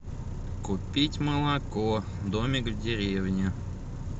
купить молоко домик в деревне